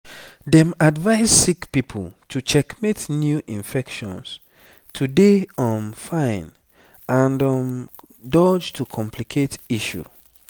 dem advise sick pipo to checkmate new infections to dey um fine and um dodge to complicate issue